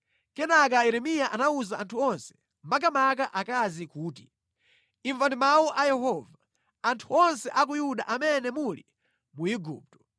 Kenaka Yeremiya anawuza anthu onse, makamaka akazi kuti, “Imvani mawu a Yehova, anthu onse a ku Yuda amene muli mu Igupto.